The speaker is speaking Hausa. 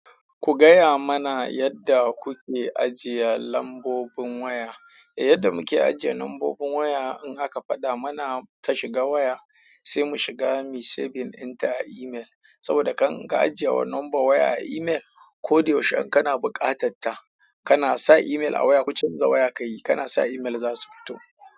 Ku gaya mana yadda kuke ajiye lambobin waya. Yadda muke ajiye lambobin waya in aka faɗa mana ta shiga waya, sai mu shiga muyi saving into email saboda in ka ajiye lambar waya a email ko yaushe in kana buƙatarta, kana sa email a waya ku canza waya ka yi, kana sa email za su fito.